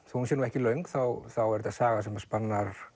þó hún sé ekki löng þá er þetta saga sem spannar